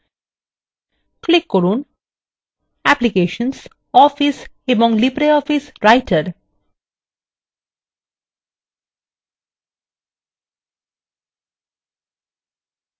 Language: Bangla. click করুন অ্যাপ্লিকেশনস office এবং libreoffice writer